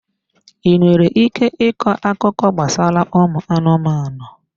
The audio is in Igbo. Ị nwere ike ịkọ akụkọ gbasara ụmụ anụmanụ?